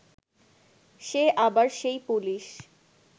সে আবার সেই পুলিশ